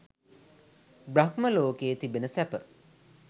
බ්‍රහ්ම ලෝකයේ තිබෙන සැප